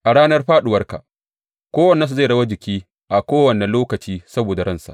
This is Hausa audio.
A ranar fāɗuwarka kowannensu zai yi rawar jiki a kowane lokaci saboda ransa.